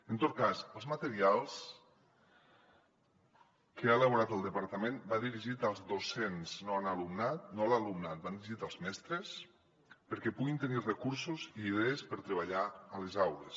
en tot cas els materials que ha elaborat el departament van dirigits als docents no a l’alumnat van dirigits als mestres perquè puguin tenir recursos i idees per treballar a les aules